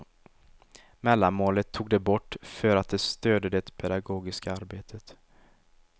Mellanmålet tog de bort för att det störde det pedagogiska arbetet.